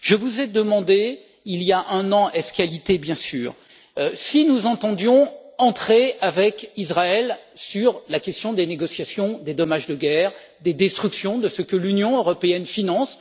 Je vous ai demandé, il y a un an, ès qualités bien sûr, si nous entendions entrer avec Israël sur la question des négociations des dommages de guerre, des destructions de ce que l'Union européenne finance.